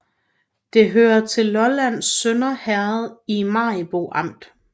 Det hørte til Lollands Sønder Herred i Maribo Amt